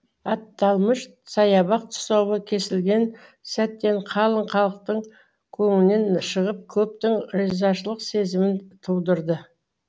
аталмыш саябақ тұсауы кесілген сәттен қалың халықтың көңілінен шығып көптің ризашылық сезімін тудырды